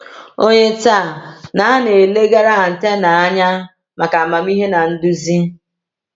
Ònye taa na - na - elegara Atena anya maka amamihe na nduzi?